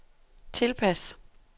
tilpas